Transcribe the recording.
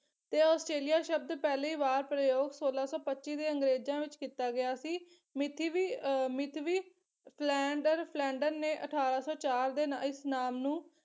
ਤੇ ਆਸਟ੍ਰੇਲੀਆ ਸ਼ਬਦ ਪਹਿਲੀ ਵਾਰ ਪ੍ਰਯੋਗ ਸੋਲਾ ਸੌ ਪੱਚੀ ਦੇ ਅੰਗਰੇਜ਼ਾਂ ਵਿੱਚ ਕੀਤਾ ਗਿਆ ਸੀ ਮਿਥੀ ਵੀ ਅਹ ਮਿਥਵੀ ਸਲੈਂਡਰ ਸਲੈਂਡਰ ਨੇ ਅਠਾਰਾਂ ਸੌ ਚਾਰ ਦੇ ਇਸ ਨਾਮ ਨੂੰ